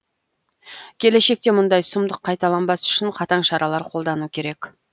келешекте мұндай сұмдық қайталанбас үшін қатаң шаралар қолдану керек